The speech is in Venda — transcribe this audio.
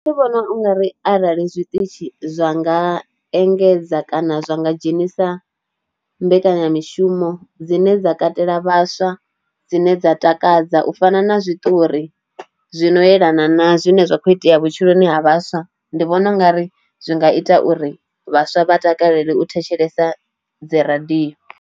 Nṋe ndi vhona u nga ri arali zwiṱitshi zwa nga engedza kana zwa nga dzhenisa mbekanya mishumo dzine dza katela vhaswa dzine dza takadza u u fana na zwiṱori zwino yelana na zwine zwa kho itea vhutshiloni ha vhaswa ndi vhona ungari zwi nga ita uri vhaswa vha takalele u thetshelesa dzi radio.